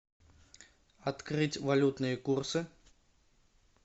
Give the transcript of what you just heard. открыть валютные курсы